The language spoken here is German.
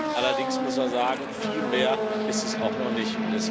Allerdings muss man sagen Viel mehr ist es auch noch nicht.